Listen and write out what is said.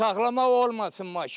Saxlamaq olmasın maşın.